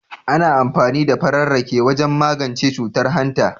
Ana amfani da farar rake wajen magance cutar hanta.